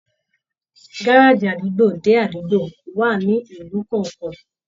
Gárájí àdúgbò dé àdúgbò wà nílùú kọọkan.